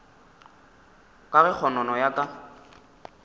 ka ge kgonono ya ka